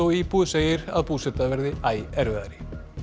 íbúi segir að búseta verði æ erfiðari